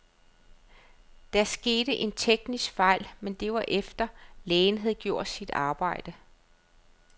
Der skete en teknisk fejl, men det var efter, lægen havde gjort sit arbejde.